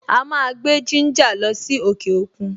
A máa gbé gínjà lọ sí òkè òkun.